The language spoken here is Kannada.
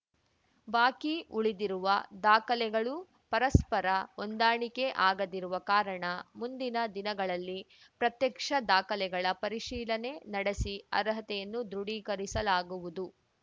ಬಾಕಿ ಉಳಿದಿರುವ ದಾಖಲೆಗಳು ಪರಸ್ಪರ ಹೊಂದಾಣಿಕೆ ಆಗದಿರುವ ಕಾರಣ ಮುಂದಿನ ದಿನಗಳಲ್ಲಿ ಪ್ರತ್ಯಕ್ಷ ದಾಖಲೆಗಳ ಪರಿಶೀಲನೆ ನಡೆಸಿ ಅರ್ಹತೆಯನ್ನು ದೃಢೀಕರಿಸಲಾಗುವುದು